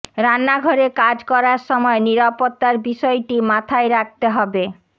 রান্নাঘরে কাজ করার সময় নিরাপত্তার বিষয়টি মাথায় রাখতে হবে